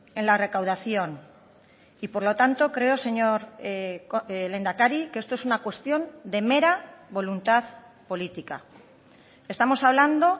en la recaudación y por lo tanto creo señor lehendakari que esto es una cuestión de mera voluntad política estamos hablando